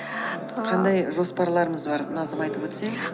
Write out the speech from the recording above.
ааа қандай жоспарларыңыз бар назым айтып өтсең